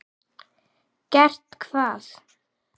Gert hvað?